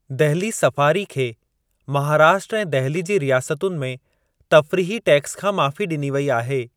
Delhi safari खे महाराष्ट्र ऐं दहिली जी रियासतुनि में तफ़्रीही टैक्स खां माफ़ी ॾिनी वेई आहे।